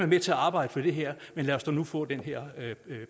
med til at arbejde for det her men lad os nu få den her